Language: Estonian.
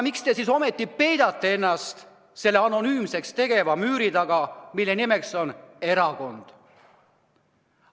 Miks te siis ometi peidate ennast selle anonüümseks tegeva müüri taga, mille nimeks on erakond?